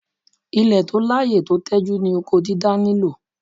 Ilẹ̀ tó láyè tó tẹjú ni oko dídá nílò.